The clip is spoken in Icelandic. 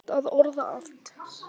Þú kannt að orða allt.